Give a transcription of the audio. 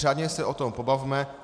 Řádně se o tom pobavme.